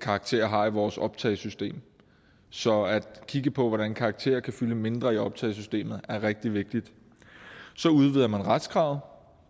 karakterer har i vores optagesystem så at kigge på hvordan karakterer kan fylde mindre i optagesystemet er rigtig vigtigt så udvider man retskravet